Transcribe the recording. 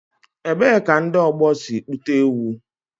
Ebee ka ndị ọgbọ si kpụta ewu?